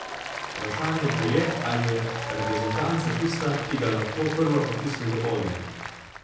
Vprašanje pa je, ali je reprezentanca tista, ki ga lahko prva potisne v ogenj.